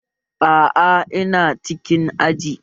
Aa, ina cikin aji